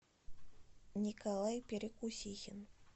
николай перекусихин